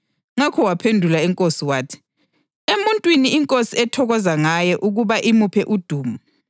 Ngakho waphendula inkosi wathi, “Emuntwini inkosi ethokoza ngaye ukuba imuphe udumo,